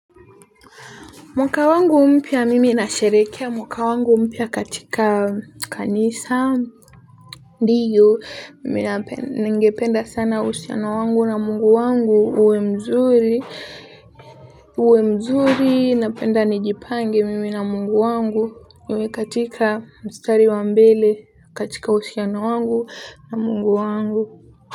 Mwaka wangu mpya mimi nasherehekea, mwaka wangu mpya katika kanisa. Ndio, mimi ningependa sana uhusiano wangu na mungu wangu uwe mzuri. Uwe mzuri, napenda nijipange mimi na mungu wangu. Uwe katika mstari wa mbele, katika uhusiano wangu na mungu wangu.